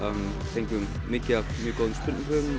fengum mikið af mjög góðum spurningum